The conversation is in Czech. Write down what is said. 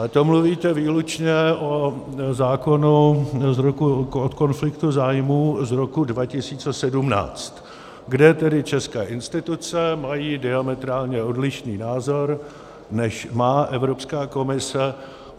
Ale to mluvíte výlučně o zákonu o konfliktu zájmů z roku 2017, kde tedy české instituce mají diametrálně odlišný názor, než má Evropská komise.